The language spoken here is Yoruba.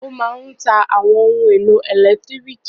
Ó máa ń ta àwọn ohun-èlò ẹ̀lẹ́tíríkì.